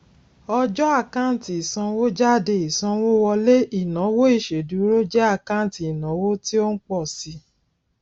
ọjọ àkáǹtì ìsanwójáde ìsanwówọlé ìnáwó ìṣèdúró jẹ àkáǹtì ìnáwó tí ó ń pọ síi